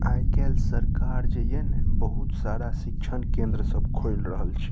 आय काएल सरकार जे ये ना बहुत सारा शिक्षन केंद्र सब खोल रहल छै।